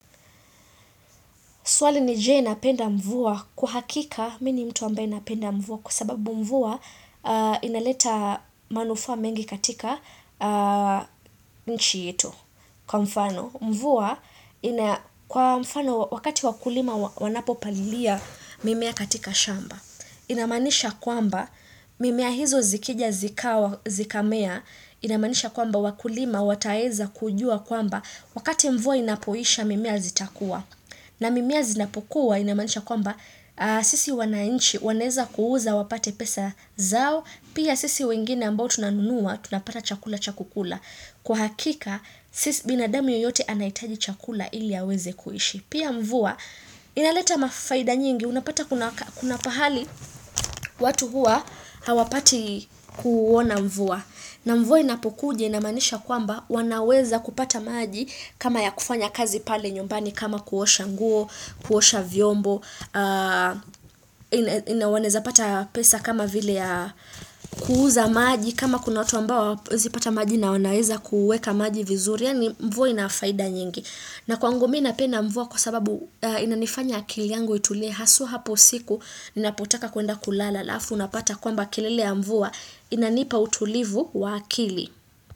Swali ni je napenda mvua kwa hakika mimi ni mtu ambaye napenda mvua kwa sababu mvua inaleta manufaa mengi katika nchi yetu kwa mfano. Mvua ina kwa mfano wakati wakulima wanapo palilia mimea katika shamba. Inamanisha kwamba mimea hizo zikija zikamea inamanisha kwamba wakulima wataeza kujua kwamba wakati mvua inapoisha mimea zitakuwa. Na mimea zinapokuwa inamanisha kwamba sisi wanainchi wanaweza kuuza wapate pesa zao. Pia sisi wengine ambao tunanunua tunapata chakula cha kula. Kwa hakika sisi binadamu yoyote anahitaji chakula ili aweze kuishi. Pia mvua inaleta faida nyingi unapata kuna mahali watu hua hawapati kuona mvua. Na mvua inapokuja inamanisha kwamba wanaweza kupata maji kama ya kufanya kazi pale nyumbani kama kuosha nguo, kuosha vyombo, wanaweza pata pesa kama vile ya kuuza maji kama kuna watu ambao hawawezipata maji nawanaweza kuweka maji vizuri. Mvua inafaida nyingi. Na kwangu minapenda mvuwa kwa sababu inanifanya akili yangu itulie So hapo usiku, ninapotaka kwenda kulala alafu. Unapata kwamba kelele ya mvuwa inanipa utulivu wa akili.